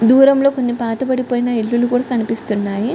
దూరంలో కొన్ని పాత పడిపోయిన ఇల్లులు కూడా కనిపిస్తున్నాయి.